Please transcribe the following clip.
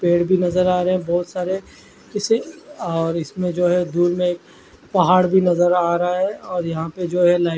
पेड़ भी नज़र आ रहे है बोहोत सारे किसे और इसमें जो है धुप में पहाड़ भी नज़र आ रहा है और यहाँ पर जो है लाइट --